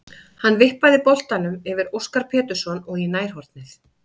Hann vippaði boltanum yfir Óskar Pétursson og í nærhornið.